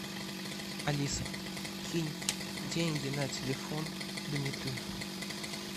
алиса кинь деньги на телефон дмитрию